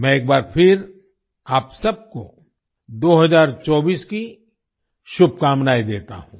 मैं एक बार फिर आप सबको 2024 की शुभकामनाएं देता हूँ